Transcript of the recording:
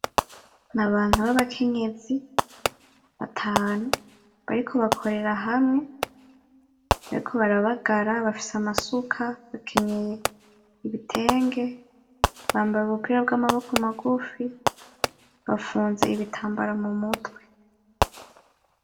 Ni abantu babakenyezi batanu bariko bakorera hamwe, bariko barabagara, bafise amasuka , bakenyeye ibitenge ,bambaye ubupira bw’amaboko magufi, bafunze ibitambara mu mutwe.